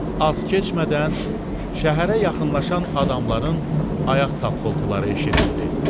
Az keçmədən, şəhərə yaxınlaşan adamların ayaq tappıltıları eşidildi.